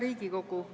Hea Riigikogu!